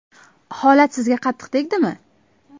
Holat sizga qattiq tegdimi?